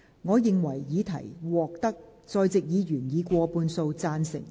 我認為議題獲得在席議員以過半數贊成。